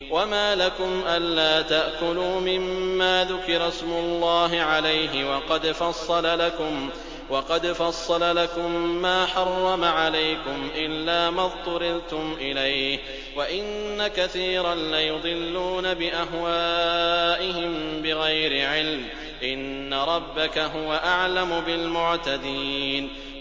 وَمَا لَكُمْ أَلَّا تَأْكُلُوا مِمَّا ذُكِرَ اسْمُ اللَّهِ عَلَيْهِ وَقَدْ فَصَّلَ لَكُم مَّا حَرَّمَ عَلَيْكُمْ إِلَّا مَا اضْطُرِرْتُمْ إِلَيْهِ ۗ وَإِنَّ كَثِيرًا لَّيُضِلُّونَ بِأَهْوَائِهِم بِغَيْرِ عِلْمٍ ۗ إِنَّ رَبَّكَ هُوَ أَعْلَمُ بِالْمُعْتَدِينَ